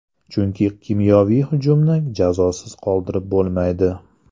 Chunki kimyoviy hujumni jazosiz qoldirib bo‘lmaydi.